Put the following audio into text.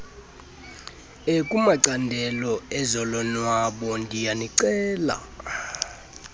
ekumacandelo ezolonwabo ndiyanicela